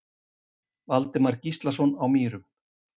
Valdimar Gíslason á Mýrum